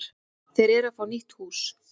Þeir eru að fá nýtt hús.